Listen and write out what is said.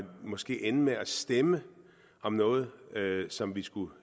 måske ende med at stemme om noget som vi skulle